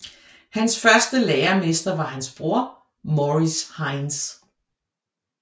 Hans første læremester var hans bror Maurice Hines